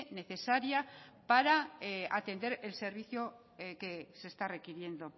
necesaria para atender el servicio que se está requiriendo